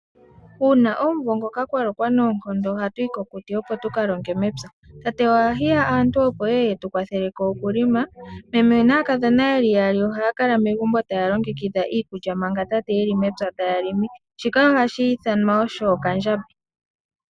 Uuna omuvo ngoka kwa lokwa noonkondo, ohatu yi kokuti opo tu ka longe mepya..Tate oha hiya aantu opo y e ye yetu kwathele ko okulima, meme naakadhona yeli yaali ohaa kala megumbi taa longekidha iikulya, manga tate ye li mepya taa limi. Shika one shi ithanwa osho, okandjambi.